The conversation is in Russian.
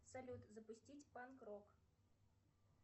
салют запустить панк рок